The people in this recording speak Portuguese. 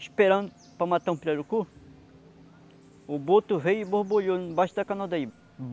esperando para matar um pirarucu, o boto veio e borbulhou embaixo da canola dele.